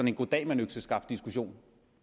en goddag mand økseskaft diskussion